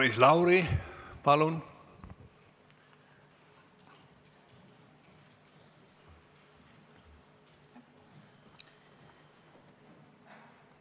Maris Lauri, palun!